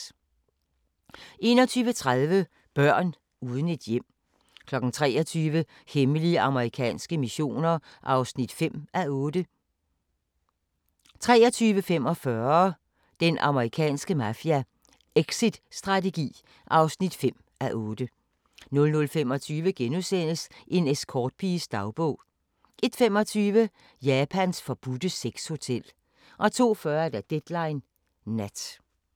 21:30: Børn uden et hjem 23:00: Hemmelige amerikanske missioner (5:8) 23:45: Den amerikanske mafia: Exitstrategi (5:8) 00:25: En escortpiges dagbog * 01:25: Japans forbudte sexhotel 02:40: Deadline Nat